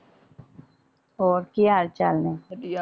ਹੋਰ ਕੀ ਹਾਲਚਾਲ ਨੇ ਵਧੀਆ